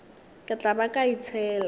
ke tla ba ka itšhela